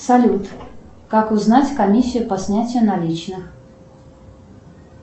салют как узнать комиссию по снятию наличных